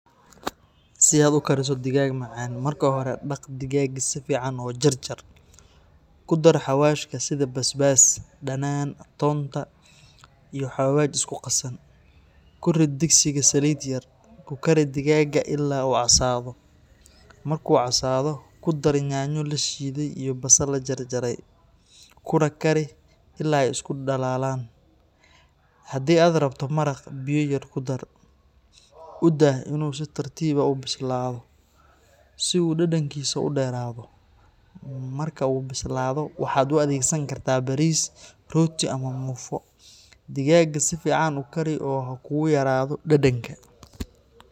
Si aad u kariso digaag macaan, marka hore dhaq digaagga si fiican oo jarjar. Ku dar xawaashka sida basbaas, dhanaan, toonta, iyo xawaash isku qasan. Ku rid digsiga saliid yar, ku kari digaagga ilaa uu casaado. Markuu casaado, ku dar yaanyo la shiiday iyo basal la jarjaray, kuna kari ilaa ay isku dhalaalaan. Haddii aad rabto maraq, biyo yar ku dar. U daa inuu si tartiib ah u bislaado, si uu dhadhankiisu u dheeraado. Marka uu bislaado, waxaad u adeegsan kartaa bariis, rooti, ama muufo. Digaagga si fiican u kari oo ha kugu yaraado dhadhanka.